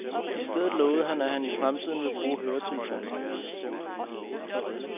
I stedet lovede han, at han i fremtiden vil bruge høretelefoner.